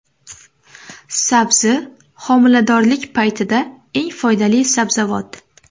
Sabzi : homiladorlik paytida eng foydali sabzavot.